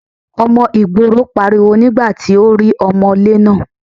Ọmọ ìgboro pariwo nígbà tí ó rí ọmọ́lé náà.